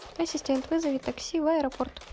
ассистент вызови такси в аэропорт